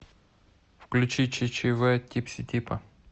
включи ччв типси типа